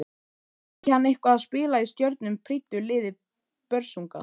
Fengi hann eitthvað að spila í stjörnum prýddu liði Börsunga?